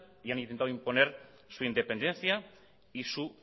y han intentado imponer su independencia y su